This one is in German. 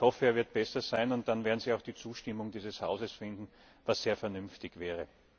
Ich hoffe, er wird besser sein, und dann werden Sie auch die Zustimmung dieses Hauses finden, was sehr vernünftig wäre.